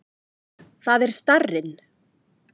Það er starrinn.